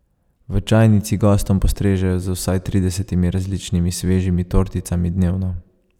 V čajnici gostom postrežejo z vsaj tridesetimi različnimi svežimi torticami dnevno.